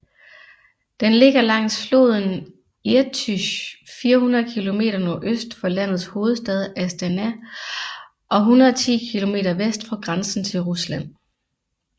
Den ligger langs floden Irtysj 400 km nordøst for landets hovedstad Astana og 110 km vest for grænsen til Rusland